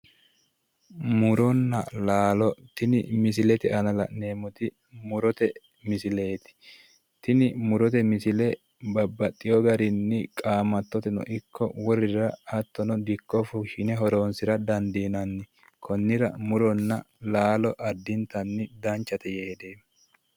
Muronna laalo, tini misilete aana la'neemmoti murote misileeti. Tini murote misile babbaxxeyo garinni qaamattoteno ikko wolerira hattono dikko fushshine horonsira dandiinanni. Konnira muronna laalo addintanni danchate yee hedeemmo.